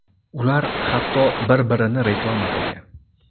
Ular hatto bir-birini reklama qilgan.